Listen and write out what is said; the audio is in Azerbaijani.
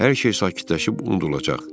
hər şey sakitləşib unudulacaq.